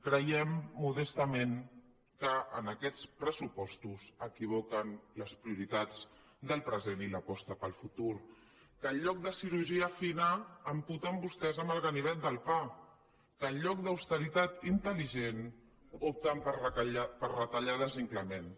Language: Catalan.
creiem modestament que en aquests pressupostos equivoquen les prioritats del present i l’aposta pel futur que en lloc de cirurgia fina amputen vostès amb el ganivet del pa que en lloc d’austeritat intel·ligent opten per retallades inclements